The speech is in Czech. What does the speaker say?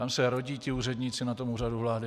Tam se rodí ti úředníci na tom Úřadu vlády.